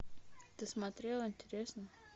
ты смотрела интересно